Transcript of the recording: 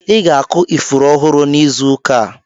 Ị ga-akụ ifuru ọhụrụ n'izu ụka a.